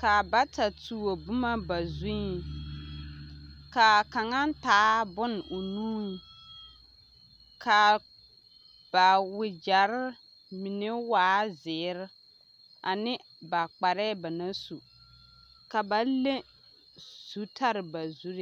ka bata tuo boma ba zuŋ, k'a kaŋa taa bone o nuŋ, k'a ba wegyere mine waa zeere ane ba kparɛɛ ba naŋ su ka ba leŋ zutare ba zuree.